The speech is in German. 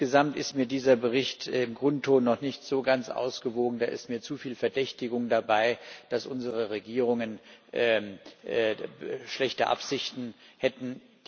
Insgesamt ist mir dieser Bericht im Grundton noch nicht so ganz ausgewogen, da ist mir zu viel Verdächtigung dabei, dass unsere Regierungen schlechte Absichten hätten.